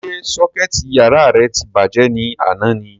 Ṣé sọ́kẹ̀tì yàrá rẹ ti bàjẹ́ ni àná ni?